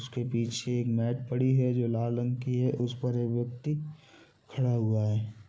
उसके पीछे एक मैट पड़ी है जो की लाल रंग की है उस पर एक व्यक्ति खड़ा हुआ है।